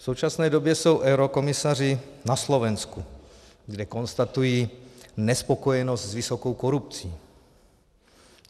V současné době jsou eurokomisaři na Slovensku, kde konstatují nespokojenost s vysokou korupcí.